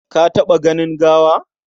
Ka taɓa ganin gawa?